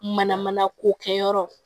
Mana mana ko kɛ yɔrɔ